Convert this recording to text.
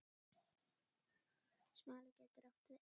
Smali getur átt við